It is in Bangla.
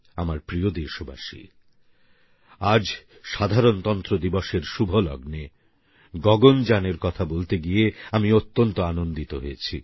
আমার প্রিয় দেশবাসী আজ সাধারণতন্ত্র দিবসের শুভ লগ্নে গগনযানএর কথা বলতে গিয়ে আমি অত্যন্ত আনন্দিত হয়েছি